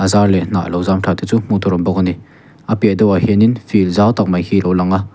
char leh hnah lo zam thla te chu hmuh tur awm bawk ani a piahah deuh ah hianin field zau tak mai hi lo lang a.